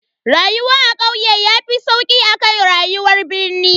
Rayuwa a kauye yafi sauki akan rayuwar birnin.